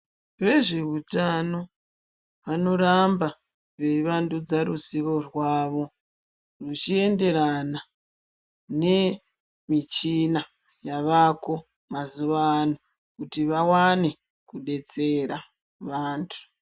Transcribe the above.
Vezveutano vanoramba veivandudza ruzivo rwavo zvichienderana nemichina yavako mazuvano kuti vawane kudetsera vantu.